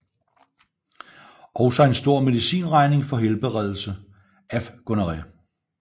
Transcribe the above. Også en stor medicinregning for helbredelse af gonorré